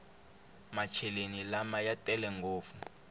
macheleni lama ya tele ngopfu